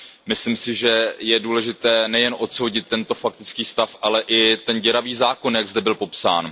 Myslím si, že je důležité nejen odsoudit tento faktický stav, ale i ten děravý zákon, jak zde byl popsán.